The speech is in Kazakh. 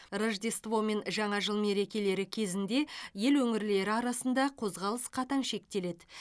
рождество мен жаңа жыл мерекелері кезінде ел өңірлері арасында қозғалыс қатаң шектеледі